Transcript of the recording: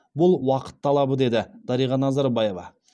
бұл уақыт талабы деді дариға назарбаева